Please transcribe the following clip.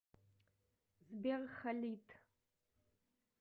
сбер халид